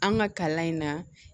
An ka kalan in na